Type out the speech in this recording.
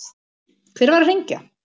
Hver var að hringja?